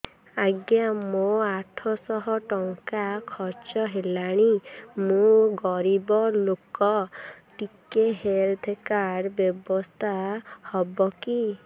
ଆଜ୍ଞା ମୋ ଆଠ ସହ ଟଙ୍କା ଖର୍ଚ୍ଚ ହେଲାଣି ମୁଁ ଗରିବ ଲୁକ ଟିକେ ହେଲ୍ଥ କାର୍ଡ ବ୍ୟବସ୍ଥା ହବ କି